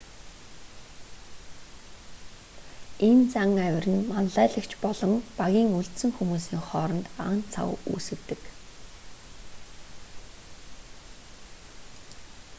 энэ зан авир нь манлайлагч болон багийн үлдсэн хүмүүсийн хооронд ан цав үүсгэдэг